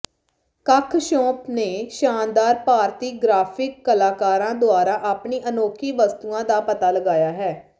ਕੱਖ ਸ਼ੌਪ ਨੇ ਸ਼ਾਨਦਾਰ ਭਾਰਤੀ ਗ੍ਰਾਫਿਕ ਕਲਾਕਾਰਾਂ ਦੁਆਰਾ ਆਪਣੀ ਅਨੌਖੀ ਵਸਤੂਆਂ ਦਾ ਪਤਾ ਲਗਾਇਆ ਹੈ